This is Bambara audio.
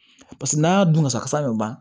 Paseke n'a y'a dun kasa bɛ ban